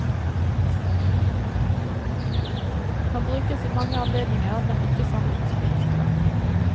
Kan brukes i mange anledninger, men ikke sammen med sportsklær.